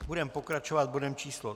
Budeme pokračovat bodem číslo